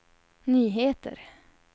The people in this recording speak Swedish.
nyheter